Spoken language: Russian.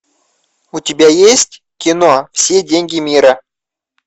у тебя есть кино все деньги мира